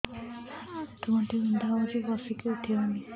ଆଣ୍ଠୁ ଗଣ୍ଠି ବିନ୍ଧା ହଉଚି ବସିକି ଉଠି ହଉନି